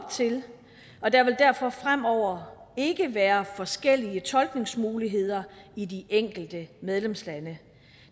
op til og der vil derfor fremover ikke være forskellige tolkningsmuligheder i de enkelte medlemslande